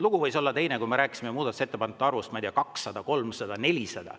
Lugu võis olla teine, kui me rääkisime muudatusettepanekute arvust, ma ei tea, 200, 300, 400.